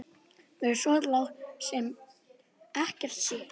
Verður svo látið sem ekkert sé?